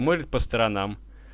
может по сторонам